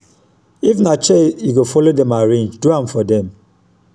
if na chair yu go follow dem arrange do am for dem